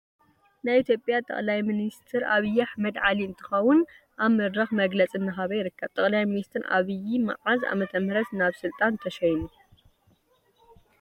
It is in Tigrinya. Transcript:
ናይ ኢትዮጲያ ጠቅላይ ሚኒስተር አብይ አሕመድ ዓሊ እንትክው አብ መድረክ መግለፅ እናሃበ ይርከብ ።ጠቅላይ ሚኒስተር አብይ መዓዝ ዓ.ም ናብ ስልጣን ተሽይሙ?